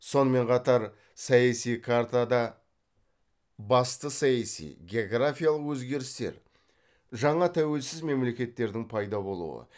сонымен қатар саяси картада басты саяси географиялық өзгерістер жаңа тәуелсіз мемлекеттердің пайда болуы